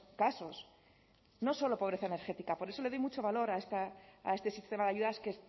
casos no solo pobreza energética por eso le doy mucho valor a este sistema de ayudas que